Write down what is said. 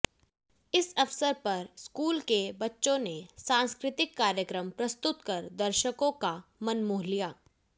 इस अवसर पर स्कूल के बच्चों ने सांस्कृतिक कार्यक्रम प्रस्तुत कर दर्शकों का मनमोह लिया